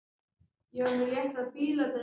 Sæl góða kallaði pabbi hennar annars hugar.